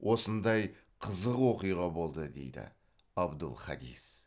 осындай қызық оқиға болды дейді абдул хадис